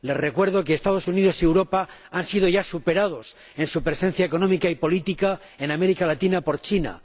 Les recuerdo que los Estados Unidos y Europa han sido ya superados en su presencia económica y política en América Latina por China.